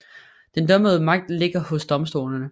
Den dømmende magt ligger hos domstolene